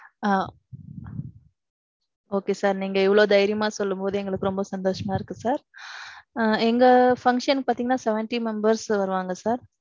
ஆ. okay sir நீங்க இவ்வளவு தைரியமா சொல்லும்போது எங்களுக்கு ரொம்ப சந்தோஷமா இருக்கு sir. எங்க function பாத்தீங்கன்னா seventy members வருவாங்க sir.